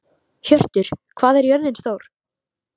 Hjörtur, hvað er jörðin stór?